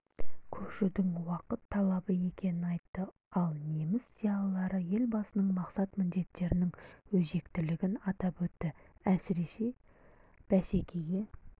көшудің уақыт талабы екенін айтты ал неміс зиялылары елбасының мақсат-міндеттерінің өзектілігін атап өтті әсіресе бәсекеге